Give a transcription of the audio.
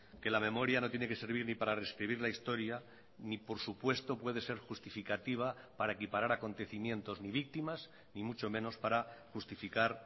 que la memoria no tiene que servir ni para rescribir la historia ni por supuesto puede ser justificativa para equiparar acontecimientos ni víctimas ni mucho menos para justificar